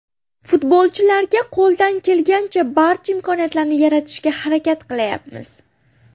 Futbolchilarga qo‘ldan kelgancha barcha imkoniyatlarni yaratishga harakat qilayapmiz.